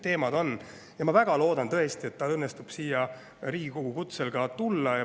Ma väga loodan, et tal õnnestub Riigikogu kutsel siia tulla.